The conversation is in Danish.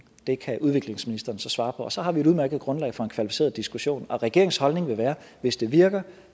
kan udviklingsministeren så svare på og så har vi et udmærket grundlag for en kvalificeret diskussion og regeringens holdning vil være at hvis det virker